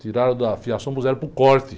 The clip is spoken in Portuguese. Tiraram da fiação e puseram para o corte.